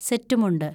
set മുണ്ട്